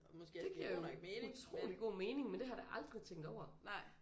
Det giver jo utrolig god mening men det har jeg da aldrig tænkt over